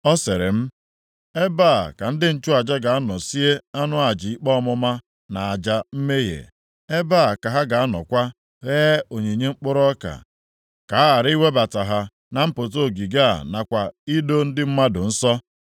Ọ sịrị m, “Ebe a ka ndị nchụaja ga-anọ sie anụ aja ikpe ọmụma na aja mmehie. Ebe a ka ha ga-anọkwa ghee onyinye mkpụrụ ọka, ka a ghara iwebata ha na mpụta ogige a nakwa ido ndị mmadụ nsọ.”